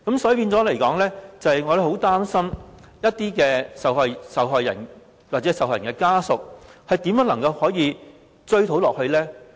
所以，我們很擔心一些受害人或受害人的家屬，他們如何一直追討責任呢？